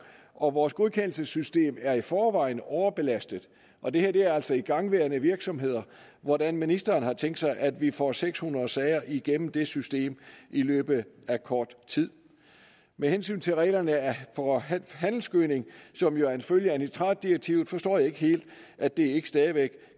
og vores godkendelsessystem er i forvejen overbelastet og det her er altså igangværende virksomheder hvordan ministeren har tænkt sig at vi får seks hundrede sager igennem det system i løbet af kort tid med hensyn til reglerne for handelsgødning som jo er en følge af nitratdirektivet forstår jeg ikke helt at det ikke stadig væk